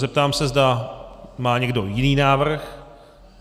Zeptám se, zda má někdo jiný návrh.